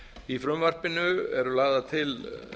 í frumvarpinu eru lagðar til